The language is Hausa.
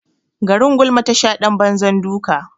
Garin gulma tasha ɗan banzar duka.